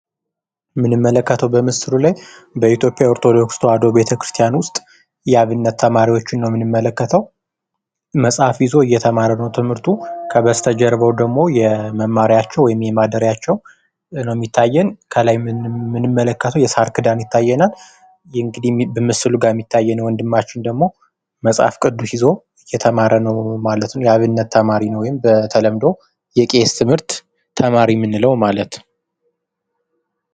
የምንመለከተው በምስሉ ላይ በኢትዮጵያ ኦርቶዶክስ ተዋህዶ ቤተክርስቲያን ውስጥ የአብነት ተማሪዎችን ነው የምንመለከተው። መጽሐፍ ይዞ እየተማረ ነው ትምህርቱን ።ከበስተጀርባው ደግሞ የመማሪያቸው ወይም የማደርያቸው ነው የሚታየን። ከላይ የምንመለከተው የሳር ክዳን ይታየናል። እንግዲህ ምስሉ ላይ የሚታየን ወንድማችን ደግሞ መጽሐፍ ይዞ እየተማረ ነው ማለት ነው። የአብነት ተማሪ ወይም በተለምዶ የቄስ ትምህርት ተማሪ የምንለው ማለት ነው።